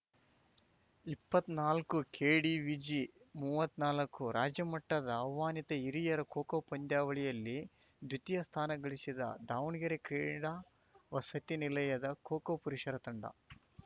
ಇಪ್ಪತ್ನಾಲ್ಕುಕೆಡಿವಿಜಿಮೂವತ್ನಾಲ್ಕು ರಾಜ್ಯ ಮಟ್ಟದ ಆಹ್ವಾನಿತ ಹಿರಿಯರ ಖೋಖೋ ಪಂದ್ಯಾವಳಿಯಲ್ಲಿ ದ್ವಿತೀಯ ಸ್ಥಾನ ಗಳಿಸಿದ ದಾವಣಗೆರೆ ಕ್ರೀಡಾ ವಸತಿ ನಿಲಯದ ಖೋಖೋ ಪುರುಷರ ತಂಡ